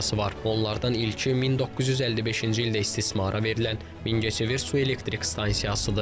Onlardan ilki 1955-ci ildə istismara verilən Mingəçevir su elektrik stansiyasıdır.